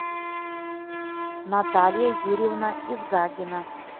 наталья юрьевна изгагина